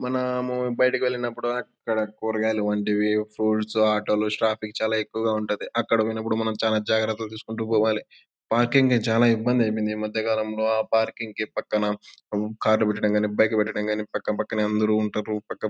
మనము బయటకెళ్లినప్పుడు అక్కడ కూరగాయలు వంటివి ఫ్రూట్స్ ఆటో లు ట్రాఫిక్ చాలా ఎక్కువగా ఉంటది అక్కడకు పోయినప్పుడు మనం చానా జాగ్రత్తలు తీసుకుంటు పోవాలి పార్కింగ్ కి చాలా ఇబ్బంది అయిపోయింది ఈ మధ్య కాలంలో ఆ పార్కింగ్ కి పక్కన కార్ లు పెట్టడానికి గాని బైకు లు పెట్టడానికి గాని పక్క పక్కనే అందరూ ఉంటారు పక్క --